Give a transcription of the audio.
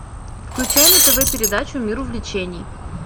включай на тв передачу мир увлечений